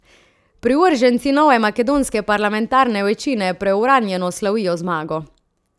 Privrženci nove makedonske parlamentarne večine preuranjeno slavijo zmago.